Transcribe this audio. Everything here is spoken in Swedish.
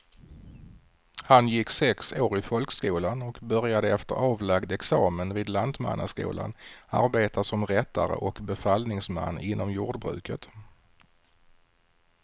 Han gick sex år i folkskolan och började efter avlagd examen vid lantmannaskolan arbeta som rättare och befallningsman inom jordbruket.